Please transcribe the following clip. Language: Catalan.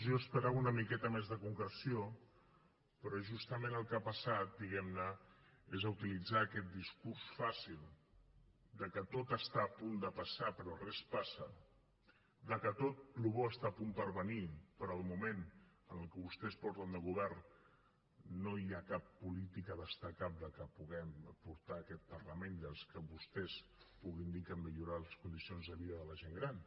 jo esperava una miqueta més de concreció però justament al que ha passat diguem ne és a utilitzar aquest discurs fàcil que tot està a punt de passar però res passa que tot allò que és bo està a punt de venir però de moment en el que vostès porten de govern no hi ha cap política destacable que puguem aportar a aquest parlament que vostès puguin dir que han millorat les condicions de vida de la gent gran